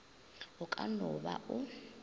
o ka no ba o